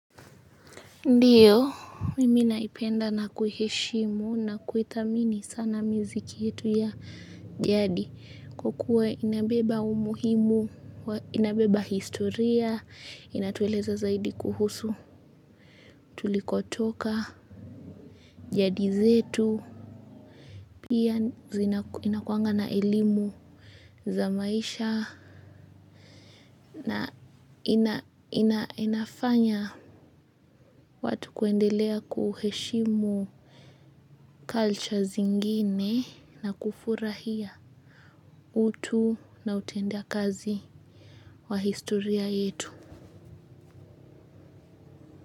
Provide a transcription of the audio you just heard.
Ndiyo, mimi naipenda na kuiheshimu na kuithamini sana miziki yetu ya jadi. Kukuwe inabeba umuhimu, inabeba historia, inatueleza zaidi kuhusu tulikotoka jadi zetu. Pia zina inakuanga na elimu za maisha na ina ina inafanya watu kuendelea kuheshimu cultures zingine. Na kufurahia utu na utenda kazi wa historia yetu.